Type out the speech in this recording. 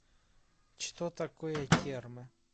что такое термы